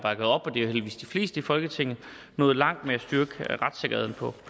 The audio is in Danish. heldigvis de fleste i folketinget nået langt med at styrke retssikkerheden på